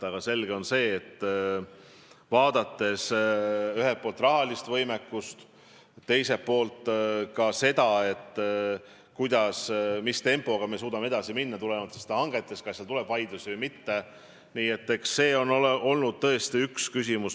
Aga selge on, et vaadates ühelt poolt rahalist võimekust ja teiselt poolt seda, mis tempoga me suudame tulenevalt hangetest edasi minna, kas seal tuleb vaidlusi või mitte, on see tõesti probleem.